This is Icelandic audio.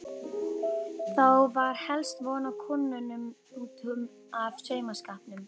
Þá var helst von á kúnnum út af saumaskapnum.